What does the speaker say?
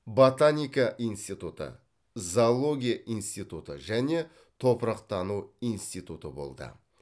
ботаника институты зоология институты және топырақтану институты болды